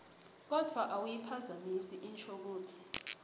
kodvwa awuyiphazamisi inshokutsi